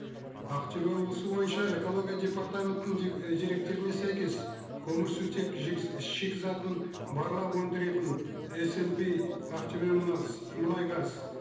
ақтөбе облысы бойынша экология департаментінің і деректеріне сәйкес көмірсутек шикізатын барлап өндіретін эсэмпи ақтөбе мұнайгаз